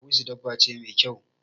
Dawisu dabba ce mai kyau.